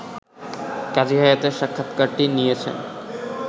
কাজী হায়াতের সাক্ষাৎকারটি নিয়েছেন